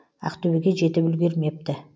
ақтөбеге жетіп үлгермепті